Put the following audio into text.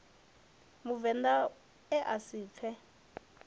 muvend a a si pfe